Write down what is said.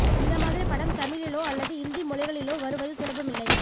இந்த மாதிரி படம் தமிழிலோ அல்லது இந்திய மொழிகளிலோ வருவது சுலபமில்லை